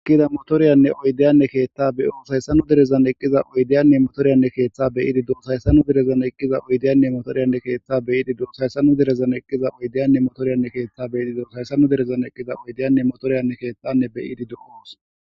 Ekkida motoriyanne oydeyanne keeththa be ooshayssanu derezan eqqiza oydeyanne motoryanne keeththa beyidi do hayssanu derezan eqqiza oydeyanne motoriyanne keeththa beyiidi do hhayssanu derezan eqqiza oydeyanne motoriyanne keeththa be yidi do sayssanu derezan eqqiza oydeyanne motoriyanne keethtanne beyidido oos.